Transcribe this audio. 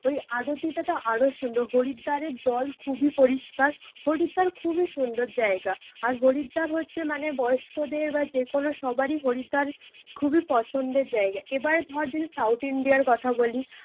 ওই আরতিটাতো আরো সুন্দর। হরিদ্বারের জল খুবই পরিষ্কার, হরিদ্বার খুবই সুন্দর জায়গা। আর হরিদ্বার হচ্ছে মানে বয়স্কদের বা যে কোনো সবারই হরিদ্বার খুবই পছন্দের জায়গা। এইবার ধর যদি সাউথ ইন্ডিয়ার কথা বলি